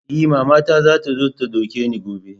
E, mamata za ta zo ta ɗauke ni gobe.